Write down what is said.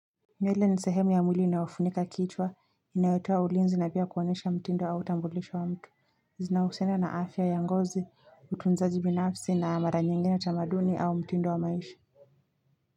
Nywele ni sehemu ya mwili inayofunika kichwa, inayotoa ulinzi na pia kuonyesha mtindo au utambulisho wa mtu. Zinahusiana na afya ya ngozi, utunzaji binafsi na mara nyingine tamaduni au mtindo wa maisha.